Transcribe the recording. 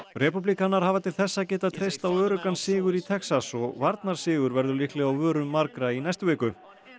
repúblikanar hafa til þessa getað treyst á öruggan sigur í Texas og varnarsigur verður líklega á vörum margra í næstu viku